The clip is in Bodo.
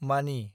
मानि